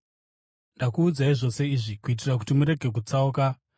“Ndakuudzai zvose izvi kuitira kuti murege kutsauka.